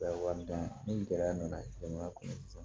ni gɛlɛya nana denbaya kɔnɔ sisan